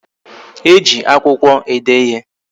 E ji akwụkwọ ede ịhe